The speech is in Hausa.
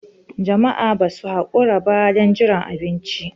Jama'a ba su haƙura ba don jiran abinci.